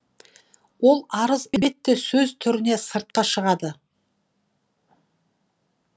ол арыз сөз түрінде сыртқа шығады